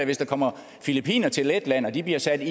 hvis der kommer filippinere til letland og de bliver sat